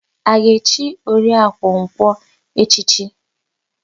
A ga-echi Oriakụ Nkwọ echichi?